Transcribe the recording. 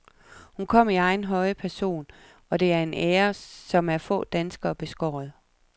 Hun kom i egen høje person, og det er en ære, som er få danskere beskåret.